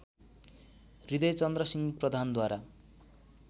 हृदयचन्द्रसिंह प्रधानद्वारा